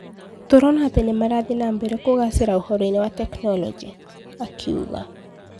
Tũrona ati nimarathie nambere kũgacera uhoro-ini wa teknoloji", akiuga.